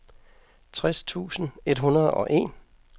tres tusind et hundrede og en